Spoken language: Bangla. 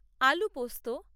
আলু পোস্ত